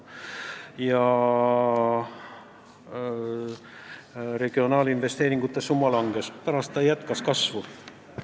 Pärast seda regionaalinvesteeringute summa langes, siis jälle jätkas kasvu.